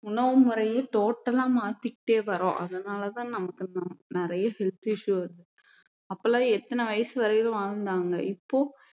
உணவு முறையே total ஆ மாத்திக்கிட்டே வர்றோம் அதனாலதான் நமக்கு நம்~ நிறைய health issue வருது அப்போலாம் எத்தனை வயசு வரையிலும் வாழ்ந்தாங்க இப்போ